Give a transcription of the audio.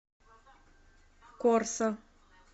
корсо